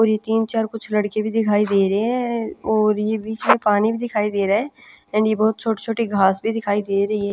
और ये तीन चार कुछ लड़के भी दिखाई दे रहे हैं और ये बीच में पानी भी दिखाई दे रहा है एंड ये बहुत छोटे-छोटी घास भी दिखाई दे रही है --